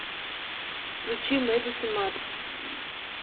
включи мэдисон марс